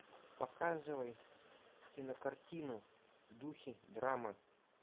показывай кинокартину в духе драма